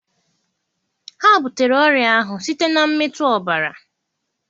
Ha butere ọrịa ahụ site na mmetụ ọbara.